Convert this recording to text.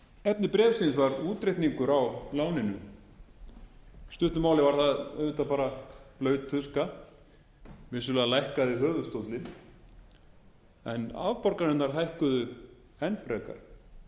efni bréfsins var útreikningur á láninu í stuttu máli var það auðvitað bara blaut tuska vissulega lækkaði höfuðstóllinn en afborganirnar hækkuðu enn frekar